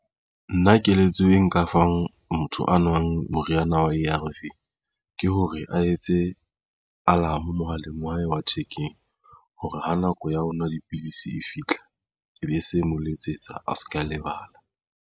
Nna keletso e nka fang motho a nwang moriana wa A_R_V ke hore a etse alarm mohaleng wa hae wa thekeng hore ha nako ya ho nwa dipilisi e fitlha ebe se mo letsetsa a se ke a lebala